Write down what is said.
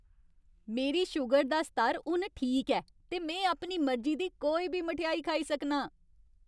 मेरी शूगर दा स्तर हून ठीक ऐ ते में अपनी मर्जी दी कोई बी मठेआई खाई सकनां।